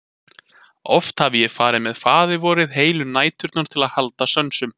Oft hafði ég farið með Faðirvorið heilu næturnar til að halda sönsum.